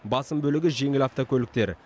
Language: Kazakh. басым бөлігі жеңіл автокөліктер